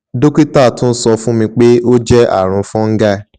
dokita tun sọ fun mi pe o jẹ arun fungul